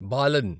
balun